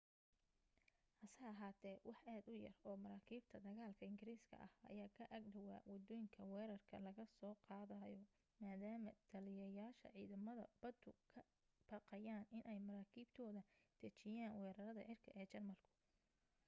hase ahaate wax aad u yar oo maraakiibta dagaalka ingiriiska ah ayaa ka ag dhawaa waddooyinka weerarka laga soo qaadayo maadaama taliyayaasha ciidamada baddu ka baqayeen inay maraakiibtooda dejiyaan weerarada cirka ee jarmalku